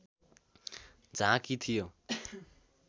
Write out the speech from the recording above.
झाँकी थियो